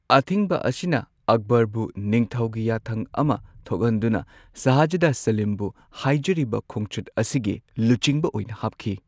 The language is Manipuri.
ꯑꯊꯤꯡꯕ ꯑꯁꯤꯅ ꯑꯛꯕꯔꯕꯨ ꯅꯤꯡꯊꯧꯒꯤ ꯌꯥꯊꯪ ꯑꯃ ꯊꯣꯛꯍꯟꯗꯨꯅ ꯁꯥꯍꯖꯥꯗ ꯁꯂꯤꯝꯕꯨ ꯍꯥꯏꯖꯔꯤꯕ ꯈꯣꯡꯆꯠ ꯑꯁꯤꯒꯤ ꯂꯨꯆꯤꯡꯕ ꯑꯣꯏꯅ ꯍꯥꯞꯈꯤ꯫